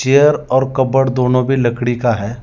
Chair और cupboard दोनों भी लकड़ी का है।